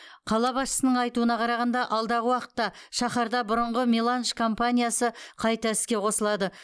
қала басшысының айтуына қарағанда алдағы уақытта шаһарда бұрынғы меланж компаниясы қайта іске қосылады